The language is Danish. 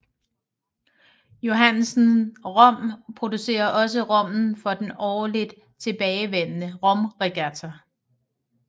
Johannsen Rum producerer også rommen for den årligt tilbagevendende Romregatta